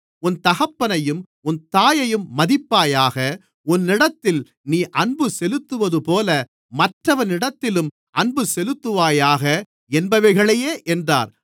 உன் தகப்பனையும் உன் தாயையும் மதிப்பாயாக உன்னிடத்தில் நீ அன்புசெலுத்துவதுபோல மற்றவனிடத்திலும் அன்புசெலுத்துவாயாக என்பவைகளையே என்றார்